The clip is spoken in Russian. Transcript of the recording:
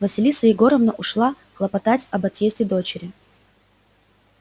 василиса егоровна ушла хлопотать об отъезде дочери